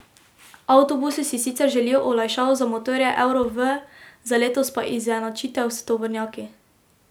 Avtobusarji si sicer želijo olajšav za motorje euro V, za letos pa izenačitev s tovornjaki.